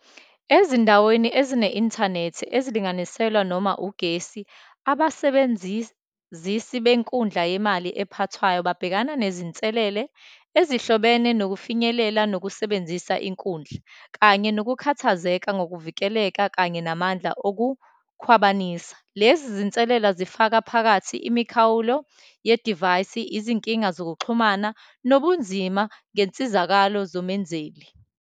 Ezindaweni ezine-inthanethi ezilinganiselwa noma ugesi, abasebenzisi benkundla yemali ephathwayo babhekana nezinselele ezihlobene nokufinyelela nokusebenzisa inkundla, kanye nokukhathazeka ngokuvikeleka, kanye namandla okukhwabanisa. Lezi zinselela zifaka phakathi imikhawulo yedivayisi, izinkinga zokuxhumana, nobunzima ngensizakalo zomenzeli.